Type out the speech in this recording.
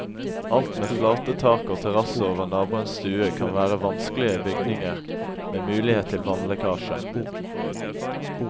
Alt med flate tak og terrasse over naboens stue kan være vanskelige bygninger med mulighet til vannlekkasje.